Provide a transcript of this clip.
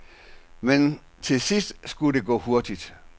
Men til sidst skulle det gå hurtigt.